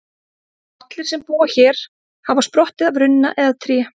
Allir sem búa hér hafa sprottið af runna eða tré.